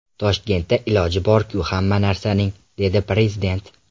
Toshkentda iloji bor-ku hamma narsaning”, dedi Prezident.